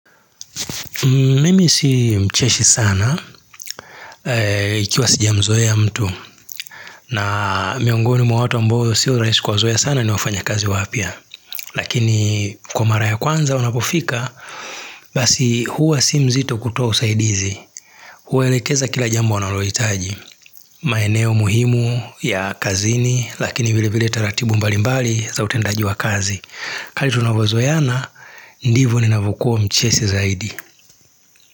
Mimi si mcheshi sana, ikiwa sijamzoe ya mtu, na miongoni mwa watu ambao si uraishi kuwazoe sana ni wafanya kazi wapia, lakini kwa mara ya kwanza wanapofika, basi huwa si mzito kutoa usaidizi, huwa elekeza kila jambo wanalohitaji, maeneo muhimu ya kazini, lakini vile vile taratibu mbalimbali za utendaji wa kazi. Kali tunavu zoeana, ndivu ni navukuwa mcheshi zaidi.